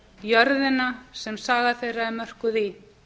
jörðina sem saga þeirra er mörkuð í